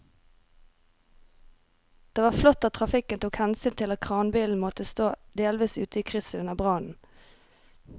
Det var flott at trafikken tok hensyn til at kranbilen måtte stå delvis ute i krysset under brannen.